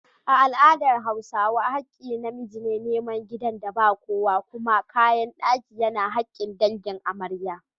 A al’adar Hausawa, hakkin na miji ne nemi gidan da ba kowa, kuma kayan daki yana hakkin dangin amarya.